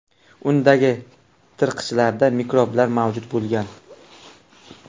Undagi tirqichlarda mikroblar mavjud bo‘lgan.